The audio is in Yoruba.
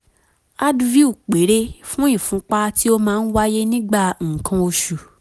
advil péré fún ìfúnpá tí ó máa ń wáyé nígbà nǹkan oṣù